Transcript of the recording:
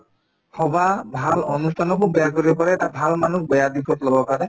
সভা ভাল অনুষ্ঠানকো বেয়া কৰিব পাৰে তাত ভাল মানুহক বেয়া দিশত লগাব পাৰে